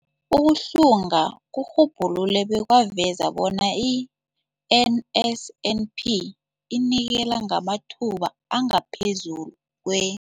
Ukuhlunga kurhubhulule bekwaveza bona i-NSNP inikela ngamathuba angaphezulu kwe-